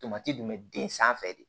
Tomati dun bɛ den sanfɛ de